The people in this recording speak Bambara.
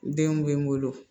N denw bɛ n bolo